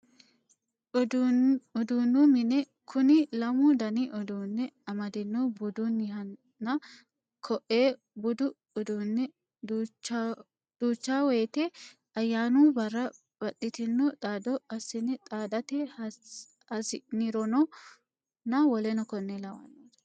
Uduu'nu mine, kuni lamu danni uduu'ne amadino budunihanna ko''ee, budu uduu'ne duuchabwoyite ayaanu bara baxitino xaado asine xaadate hasinironna wkl